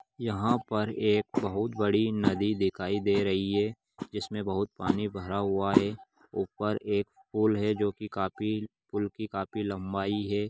यहाँ पर एक बहुत बड़ी नदी दिखाई दे रही है जिसमें बहुत पानी भरा हुआ है ऊपर एक पूल है जो की काफी पूल की काफी लंबाई है।